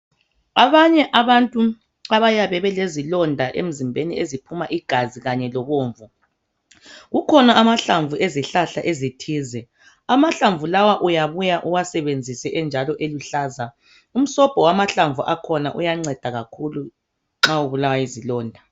Abanye abantu abayabe belezilonda emzimbeni eziphuma igazi kanye lobomvu kukhona amahlamvu ezihlahla ezithize amahlamvu lawa uyabuya uwasebenzise enjalo eluhlaza. Umsombo wamahlamvu akhona uyanceda kakhulu nxa ubulawa yizilonda.